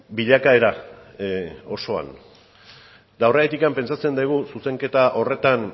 bilakaera osoan eta horregatik pentsatzen dugu zuzenketa horretan